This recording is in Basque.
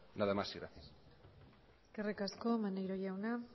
nada más y gracias eskerrik asko maneiro jauna